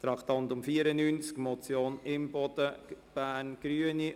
Beim Traktandum 94 handelt es sich um die Motion Imboden, Bern, Grüne: